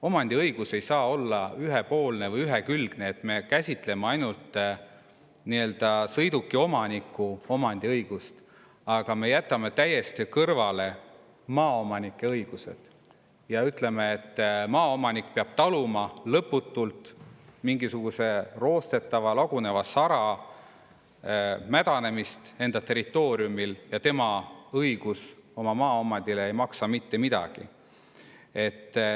Omandiõigus ei saa olla ühepoolne või ühekülgne, et me käsitleme ainult sõidukiomaniku omandiõigust, aga me jätame täiesti kõrvale maaomanike õigused ja ütleme, et maaomanik peab taluma lõputult mingisuguse roostetava laguneva sara mädanemist enda territooriumil ja tema õigus oma maaomandile ei maksa mitte midagi.